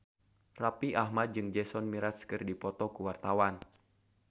Raffi Ahmad jeung Jason Mraz keur dipoto ku wartawan